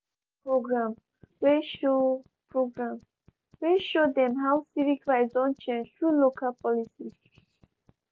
dem watch one programme wey show programme wey show dem how civic rights don change thru local policies.